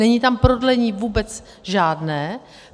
Není tam prodlení vůbec žádné.